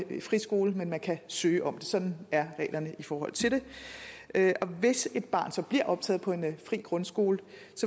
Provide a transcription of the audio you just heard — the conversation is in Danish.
en friskole men man kan søge om det sådan er reglerne i forhold til det og hvis et barn så bliver optaget på en fri grundskole